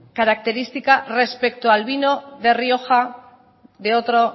su característica respecto al vino de